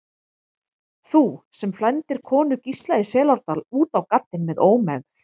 Þú, sem flæmdir konu Gísla í Selárdal út á gaddinn með ómegð.